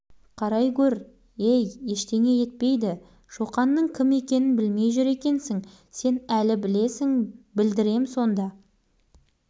шоқан партасының жанынан өте бере бауыржанға ала көзімен ата қарады тоқта деймін мен саған тоқта кешірім